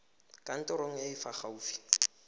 kantorong e e fa gaufi